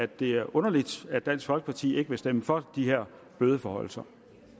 det er underligt at dansk folkeparti ikke vil stemme for de her bødeforhøjelser